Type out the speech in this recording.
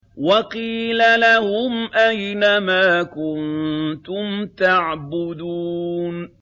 وَقِيلَ لَهُمْ أَيْنَ مَا كُنتُمْ تَعْبُدُونَ